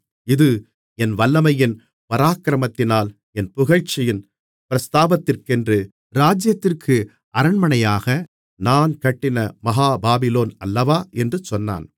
இது என் வல்லமையின் பராக்கிரமத்தினால் என் புகழ்ச்சியின் பிரஸ்தாபத்திற்கென்று ராஜ்ஜியத்திற்கு அரண்மனையாக நான் கட்டின மகா பாபிலோன் அல்லவா என்று சொன்னான்